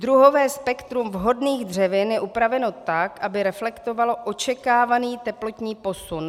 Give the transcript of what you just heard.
Druhové spektrum vhodných dřevin je upraveno tak, aby reflektovalo očekávaný teplotní posun.